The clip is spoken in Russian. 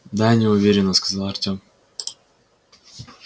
да неуверенно сказал артём